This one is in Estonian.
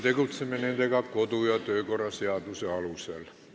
Tegutseme nendega kodu- ja töökorra seaduse alusel.